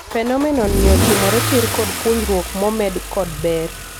Phenomenon ni ochimore tiir kod puonjruok momed kod ber.